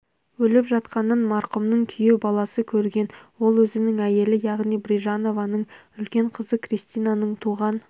өліп жатқанын марқұмның күйеу баласы көрген ол өзінің әйелі яғни брижанованың үлкен қызы кристинаның туған